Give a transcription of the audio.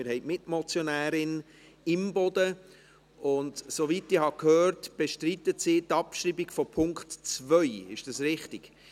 Wir haben die Mitmotionärin Imboden, und soweit ich gehört habe, bestreitet sie die Abschreibung von Punkt 2. Ist dies richtig?